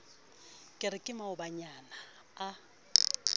ke re ke maobanyana a